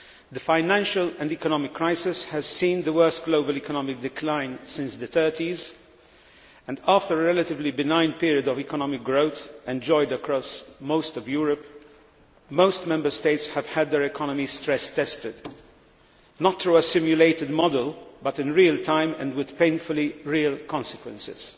The financial and economic crisis has seen the worst global economic decline since the 1930s. After a relatively benign period of economic growth enjoyed across most of Europe, most Member States have had their economies stress tested, not through a simulated model but in real time and with painfully real consequences.